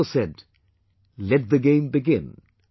It is also said, Let the game begin